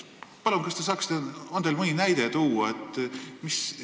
Palun, kas teil on mõni näide tuua?